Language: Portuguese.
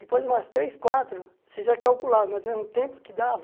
Depois de umas três, quatro, você já calculava, mas né no mesmo tempo que dava...